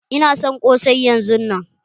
Ina son ƙosai yanzun nan!